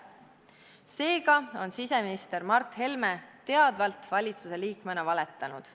" Seega on siseminister Mart Helme valitsusliikmena teadvalt valetanud.